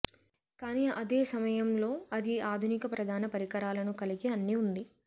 కానీ అదే సమయంలో అది ఆధునిక ప్రధాన పరికరాలను కలిగి అన్ని ఉంది